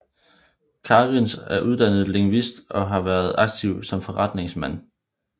Kariņš er uddannet lingvist og har været aktiv som forretningsmand